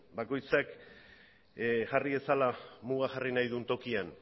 bakoitzak jarri dezala muga jarri nahi duen tokian